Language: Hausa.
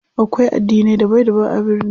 Akwai addinai daban daban a birni.